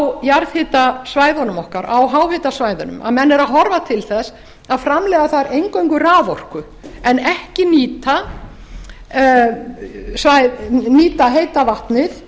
á jarðhitasvæðunum okkar á háhitasvæðunum að menn eru að menn eru að horfa til þess að framleiða þar eingöngu raforku en ekki nýta heita vatnið